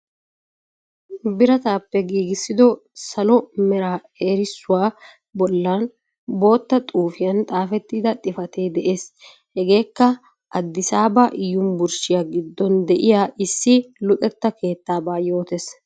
Biraatappe giggissido salo meraa eerisuwaa bollan botta xuufiyan xafetida xifate de'ees. Hegeekka aaddissabaa yunburshshiyaa giddon de; iya issi luxeeta keettaabaa yootees.